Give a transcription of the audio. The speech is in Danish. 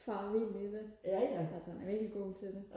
fare vild i det altså han er virkelig god til det